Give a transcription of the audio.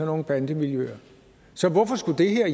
nogle bandemiljøer så hvorfor skulle det her